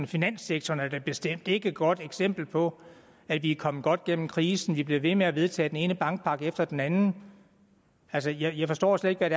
finanssektoren er da bestemt ikke et godt eksempel på at vi er kommet godt gennem krisen vi bliver ved med at vedtage den ene bankpakke efter den anden jeg jeg forstår slet ikke hvad